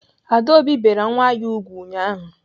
Adaobi bere nwa ya ùgwù ụnyaahụ.